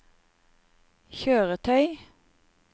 kjøretøy